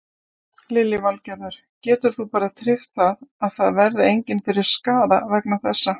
Lillý Valgerður: Getur þú bara tryggt það að það verði engin fyrir skaða vegna þessa?